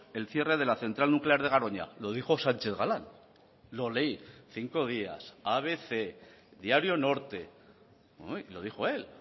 el cierre de la central nuclear de garoña lo dijo sánchez galán lo leí cinco días abc diario norte lo dijo él